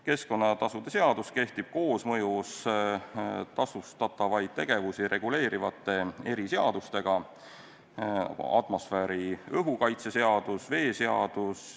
Keskkonnatasude seadus kehtib koosmõjus tasustatavaid tegevusi reguleerivate eriseadustega .